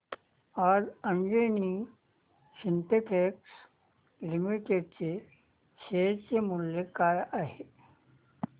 आज Anjani synthetics limited चे share मूल्य काय आहे